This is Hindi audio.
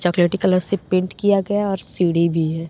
चॉकलेटी कलर से पेंट किया गया है और सीढ़ी भी है।